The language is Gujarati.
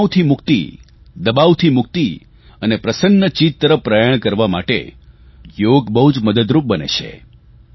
તણાવથી મુક્તિ દબાવથી મુક્તિ અને પ્રસન્નચીત તરફ પ્રયાણ કરવા માટે યોગ બહુ મદદરૂપ બને છે